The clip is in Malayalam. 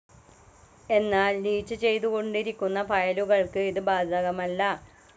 എന്നാൽ ലീച്ച്‌ ചെയ്തു കൊണ്ടിരിക്കുന്ന ഫയലുകൾക്കു ഇതു ബാധകമല്ല.